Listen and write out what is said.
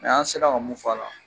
O y'an se la ka mun f'a la.